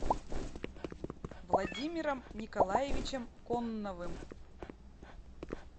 владимиром николаевичем конновым